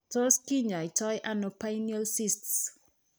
Tot kinyaitaano pineal cysts